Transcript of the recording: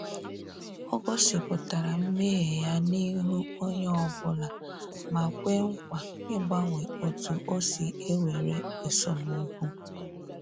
Ọ gosipụtara mmehie ya n’ihu onyeobula ma kwee nkwa ịgbanwe otu osi ewere esemokwu